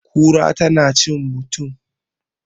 kura tana cin mutum?